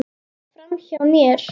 Framhjá mér.